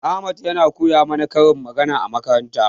Ahmad yana koya mana karin magana a makaranta.